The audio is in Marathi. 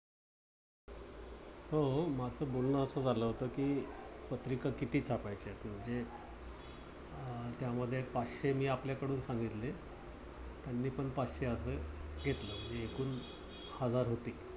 हो. माझ बोलण अस झाल होत कि पत्रिका किती छापायच्यात म्हणजे, त्यामध्ये पाचशे मी आपल्याकडून सांगितले. त्यांनी पण पाचशे अस घेतलं म्हणजे एकूण हजार होतील.